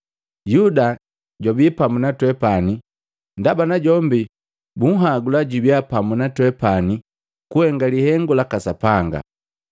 Yuda jwabi pamu na twepani, ndaba najombi bunhagula jubia pamu na twepani kuhenga lihengu laka Sapanga.